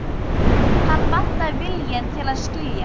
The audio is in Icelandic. Hann vantar viljann til að skilja.